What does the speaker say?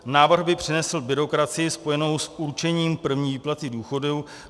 Návrh by přinesl byrokracii spojenou s určením první výplaty důchodu.